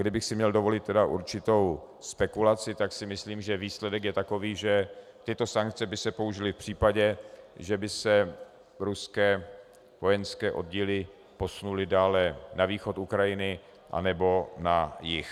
Kdybych si měl dovolit určitou spekulaci, tak si myslím, že výsledek je takový, že tyto sankce by se použily v případě, že by se ruské vojenské oddíly posunuly dále na východ Ukrajiny anebo na jih.